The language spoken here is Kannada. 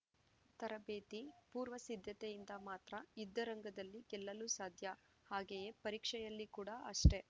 ತರಬೇತಿ ಪೂರ್ವಸಿದ್ದತೆಯಿಂದ ಮಾತ್ರ ಯುದ್ದರಂಗದಲ್ಲಿ ಗೆಲ್ಲಲು ಸಾಧ್ಯ ಹಾಗೆಯೇ ಪರೀಕ್ಷೆಯಲ್ಲಿ ಕೂಡ ಅಷ್ಟೆ